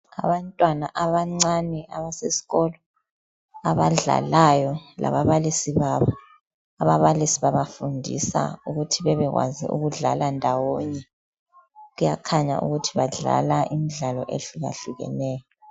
Abantwana abancane abasesikolo abadlalayo lababalisi babo. Ababalisi babafundisa ukuthi bebekwazi ukudlala ndawonye kuyakhanya ukuthi badlala imidlalo ehlukahlukaneyo.